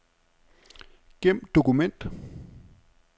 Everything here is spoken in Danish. Gem dokument.